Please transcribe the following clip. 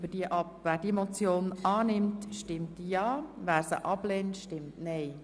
Wer die Motion annimmt, stimmt ja, wer sie ablehnt, stimmt nein.